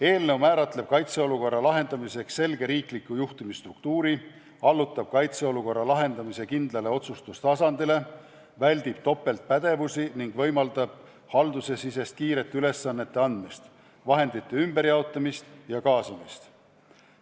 Eelnõu määratleb kaitseolukorra lahendamiseks selge riikliku juhtimisstruktuuri, allutab kaitseolukorra lahendamise kindlale otsustustasandile, väldib topeltpädevusi ning võimaldab haldusesisest kiiret ülesannete andmist, vahendite ümberjaotamist ja kaasamist.